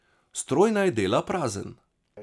Stroj naj dela prazen.